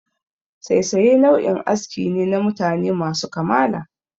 Saisaye nau'in aski ne na mutane masu kamala.